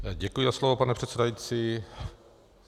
Děkuji za slovo, pane předsedající.